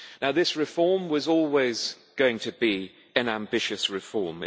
This reform was always going to be an ambitious reform.